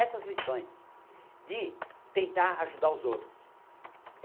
Essas lições de tentar ajudar os outros.